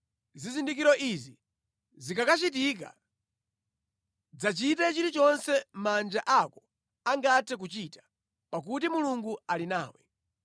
Zizindikiro izi zikakachitika, dzachite chilichonse manja ako angathe kuchita, pakuti Mulungu ali nawe.